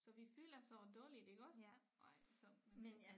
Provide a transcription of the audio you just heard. Så vi føler så dårligt iggås ej så men så